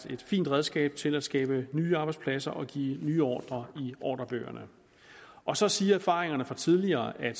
et fint redskab til at skabe nye arbejdspladser og give nye ordrer i ordrebøgerne og så siger erfaringerne fra tidligere at